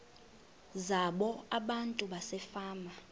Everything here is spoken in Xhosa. zabo abantu basefama